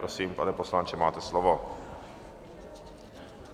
Prosím, pane poslanče, máte slovo.